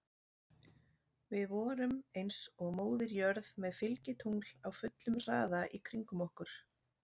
Við vorum eins og Móðir jörð með fylgitungl á fullum hraða í kringum okkur.